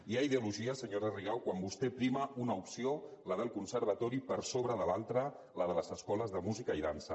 hi ha ideologia senyora rigau quan vostè prima una opció la del conservatori per sobre de l’altra la de les escoles de música i dansa